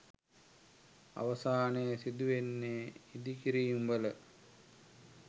අවසානයේ සිදුවන්නේ ඉඳිකිරීම් වල